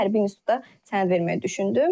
Buna görə də hərbi institutda sənəd verməyi düşündüm.